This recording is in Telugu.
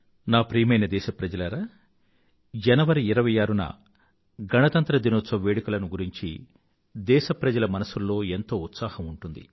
నా ప్రియమైన దేశప్రజలారా జనవరి 26న గణతంత్ర దినోత్సవ వేడుకలను గురించి దేశప్రజల మనసుల్లో ఎంతో ఉత్సాహం ఉంటుంది